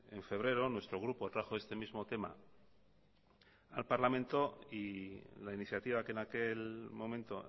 en febrero nuestro grupo trajo este mismo tema al parlamento y la iniciativa que en aquel momento